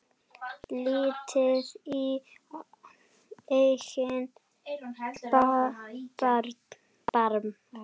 Lítið í eigin barm.